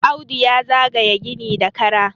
Audu ya zaga ye gini da Kara